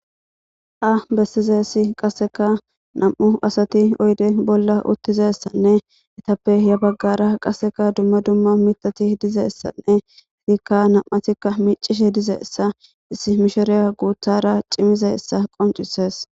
a bessizesi qasseka nam7u asati oyde bolla uttizessanne etappe ya baggara qasseka dumma dumma mitati dizeessanne fikka nam7atikka micishe dizeessa issi mishereya guuthara cimizaessa qoncisees